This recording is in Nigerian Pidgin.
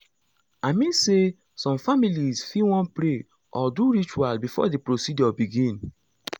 i mean say some families fit wan pray or do ritual before the procedure begin.